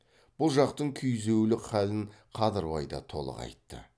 бұл жақтың күйзеулік халін қадырбай да толық айтты